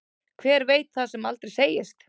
Hver veit það sem aldrei segist.